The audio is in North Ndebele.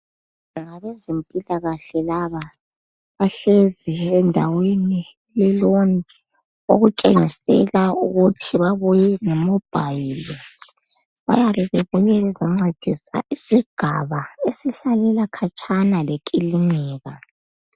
Ngabezempilakahle laba, bahlezi endaweni eleloni okutshengisela ukuthi babuye lemobhayili. Bayabe bebuye ukuzoncedisa isigaba esihlalela khatshana lekilinika.